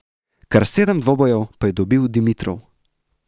Kar sedem dvoboj pa je dobil Dimitrov.